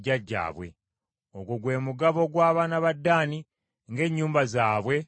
Ogwo gwe mugabo gw’abaana ba Ddaani ng’ennyumba zaabwe bwe zaali.